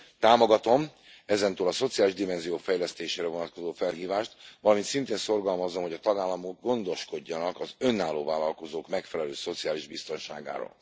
Támogatom, ezentúl a szociális dimenziók fejlesztésére vonatkozó felhívást, valamint szintén szorgalmazom, hogy a tagállamok gondoskodjanak az önálló vállalkozók megfelelő szociális biztonságáról.